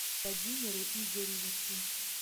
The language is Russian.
владимиру игоревичу